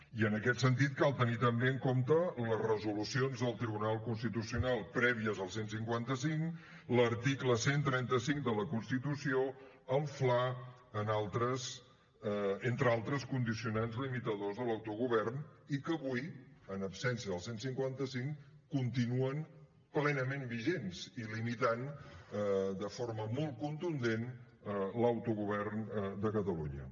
i en aquest sentit cal tenir també en compte les resolucions del tribunal constitucional prèvies al cent i cinquanta cinc l’article cent i trenta cinc de la constitució el fla entre altres condicionants limitadors de l’autogovern i que avui en absència del cent i cinquanta cinc continuen plenament vigents i limitant de forma molt contundent l’autogovern de catalunya